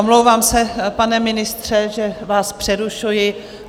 Omlouvám se, pane ministře, že vás přerušuji.